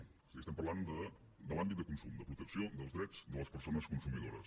o sigui estem parlant de l’àmbit de consum de protecció dels drets de les persones consumidores